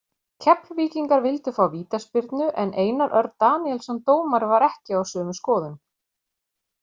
Keflvíkingar vildu fá vítaspyrnu en Einar Örn Daníelsson dómari var ekki á sömu skoðun.